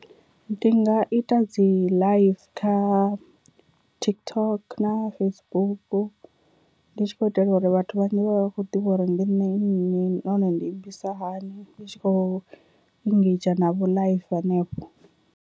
Ndi nga ita dzi live kha TikTok na Facebook ndi tshi khou itela uri vhathu vhanzhi vhavhe vha kho ḓivha uri ndi nṋe nnyi nahone ndi imbisa hani ndi tshi khou engedzha navho live hanefho.